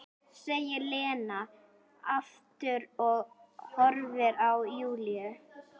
segir Lena aftur og horfir á Júlíu.